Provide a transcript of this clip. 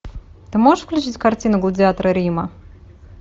ты можешь включить картину гладиаторы рима